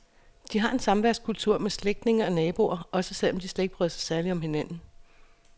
De har en samværskultur med slægtninge og naboer, også selv om de ikke bryder sig særligt om hinanden.